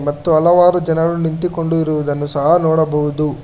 ಮತ್ತು ಹಲವಾರು ಜನರು ನಿಂತುಕೊಂಡು ಇರುವುದನ್ನು ಸಹ ನೋಡಬಹುದು.